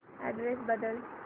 address बदल